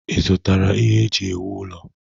Ị zụtara ihe eji ewu ụlọ?